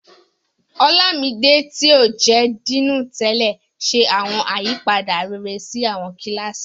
Olámidé, tí ó jẹ́ Díìnì tẹ́lẹ̀, ṣe awọn àyípadà rere sí àwọn kíláàsì.